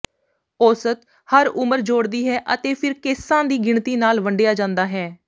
ਔਸਤ ਹਰ ਉਮਰ ਜੋੜਦੀ ਹੈ ਅਤੇ ਫਿਰ ਕੇਸਾਂ ਦੀ ਗਿਣਤੀ ਨਾਲ ਵੰਡਿਆ ਜਾਂਦਾ ਹੈ